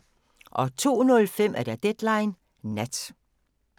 02:05: Deadline Nat